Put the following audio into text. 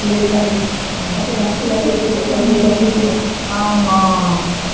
ସେ କଣ ଖାଇବ ତାକୁ ବାସି ଟା ଦେଇ ଦିଅ କି ତାକୁ ଏଇଟା ଦେଇ ଦିୟ ହୁଁ ହଁ